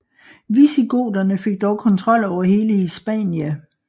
Visigoterne fik dog kontrol over hele Hispania